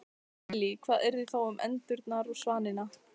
Lillý: Hvað yrði þá um endurnar og svanina?